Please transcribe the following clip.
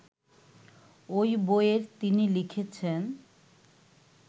ওই বইয়ের তিনি লিখেছেন